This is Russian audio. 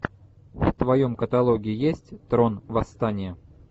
в твоем каталоге есть трон восстание